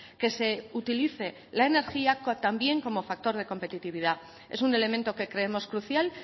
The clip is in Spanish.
que se utilice la energía también como factor de competitividad es un elemento que creemos crucial